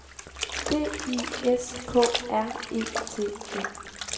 D I S K R E T E